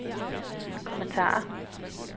kommentarer